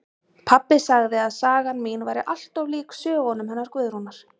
Pabbi sagði að sagan mín væri allt of lík sögunum hennar Guðrúnar